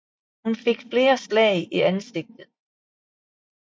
Hun fik flere slag i ansigtet